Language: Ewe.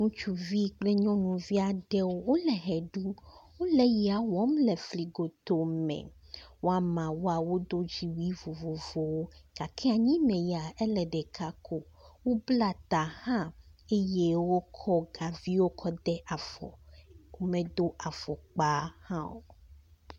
Ŋutsuvi kpli nyɔnuvi aɖewo wole ɣeɖum, wole yea wɔm le fli gotoo me. Woameawoa wodo dziwui vovovowo gake anyi me ya, ele ɖeka, wobla ta hã eye wokɔ kaviwo kɔde afɔ. Wome do afɔkpa hã o.